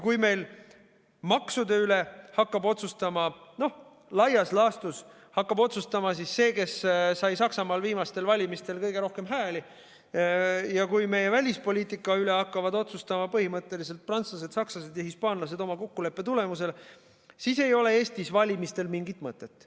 Kui meil maksude üle hakkab laias laastus otsustama see, kes sai Saksamaal viimastel valimistel kõige rohkem hääli, ja kui meie välispoliitika üle hakkavad otsustama põhimõtteliselt prantslased, sakslased ja hispaanlased oma kokkuleppe tulemusel, siis ei ole Eestis valimistel mingit mõtet.